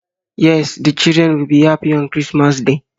Yes, the children will be happy on Christmas day